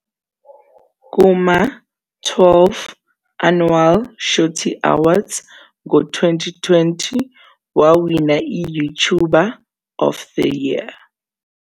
Kuma- "12th Annual Shorty Awards" ngo-2020, wawina i-YouTuber of the Year.